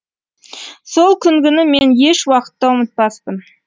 сол күнгіні мен еш уақытта ұмытпаспын